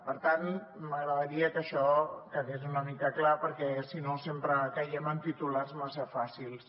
per tant m’agradaria que això quedés una mica clar perquè sinó sempre caiem en titulars massa fàcils